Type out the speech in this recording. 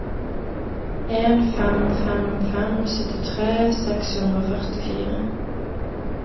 en fem fem fem syttitre seks hundre og førtifire